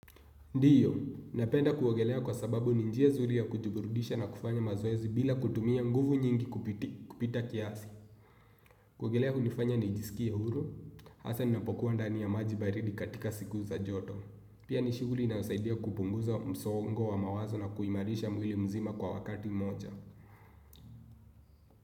Ndiyo, napenda kuogelea kwa sababu ni njia zuri ya kujiburudisha na kufanya mazoezi bila kutumia nguvu nyingi kupita kiasi. Kuogelea hunifanya ni jisikie huru, hasa ninapokuwa ndani ya maji baridi katika siku za joto. Pia ni shughuli inayosaidia kupunguza msongo wa mawazo na kuimarisha mwili mzima kwa wakati moja.